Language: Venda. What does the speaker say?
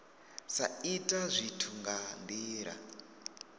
sa ita zwithu nga ndila